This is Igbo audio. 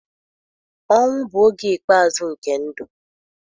Ọnwụ bụ oge ikpeazụ nke ndụ.